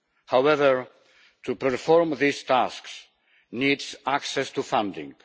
However, the performance of these tasks needs access to funding.